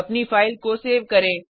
अपनी फाइल को सेव करें